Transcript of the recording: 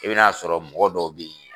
I bɛ n'a sɔrɔ mɔgɔ dɔw bɛ ye